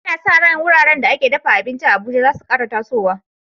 Ana sa ran wuraren da ake dafa abinci a Abuja za su kara tasowa.